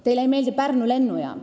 Teile ei meeldi Pärnu lennujaam.